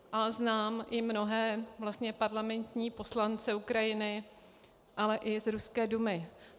A znám i mnohé parlamentní poslance Ukrajiny, ale i z ruské Dumy.